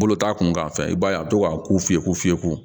Bolo t'a kun kan fɛnɛ i b'a ye a bi to ka ku fiyɛ ko fiyewu